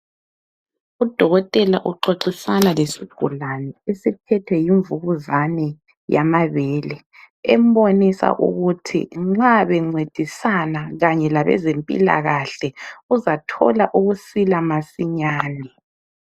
Udokotela uxoxisana lesigulane esiphethwe yimvukuzane yamabele, embonisa ukuthi nxa bencedisana kanye labezempila kahle uzathola ukusila masinyane.